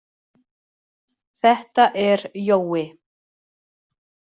Þetta er Jói!